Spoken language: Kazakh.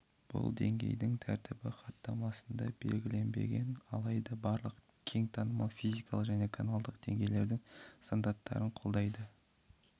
бұл деңгейдің тәртібі хаттамасында белгіленбеген алайда барлық кең танымал физикалық және каналдық деңгейлердің стандарттарын қолдайды